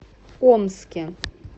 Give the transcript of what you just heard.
омске